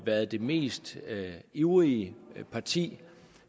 været det mest ivrige parti